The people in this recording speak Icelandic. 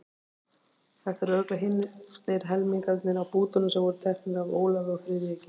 Þetta eru örugglega hinir helmingarnir af bútunum sem voru teknir af Ólafi og Friðriki.